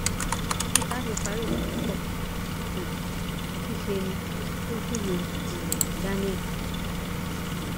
títí tá a fi parí ìròyìn yìí kò um tí ì sẹni tó gbúròó um daniel